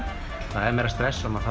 það er meira stress maður